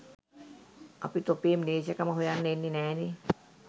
අපි තොපේ මිලේච්චකම හොයන්න එන්නේ නැනේ